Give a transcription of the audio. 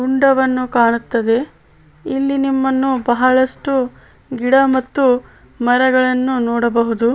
ಹುಂಡವನ್ನು ಕಾಣುತ್ತದೆ ಇಲ್ಲಿ ನಿಮ್ಮನ್ನು ಬಹಳಷ್ಟು ಗಿಡ ಮತ್ತು ಮರಗಳನ್ನು ನೊಡಬಹುದು.